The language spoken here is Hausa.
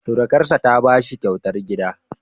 Surukarsa ta ba shi kyautar gida.